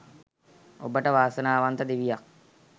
ඔබට වාසනාවන්ත දිවියක්